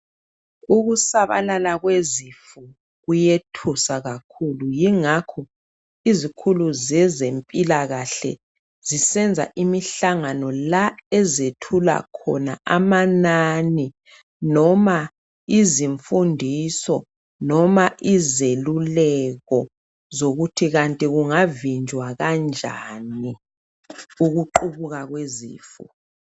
Ukusabalala kwezifo kuyethusa kakhulu. Yingakho izikhulu zezemphilakahle zisenza imihlangano la ezethula khona amanani, noma izimfundiso, noma izelulekho zokuthi kanti kungavinjwa kanjani ukuqubuka kwezifo.